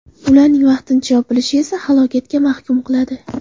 Ularning vaqtincha yopilishi esa halokatga mahkum qiladi.